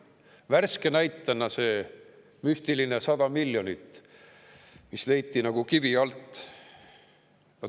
Värske näide on see müstiline 100 miljonit, mis leiti nagu kivi alt.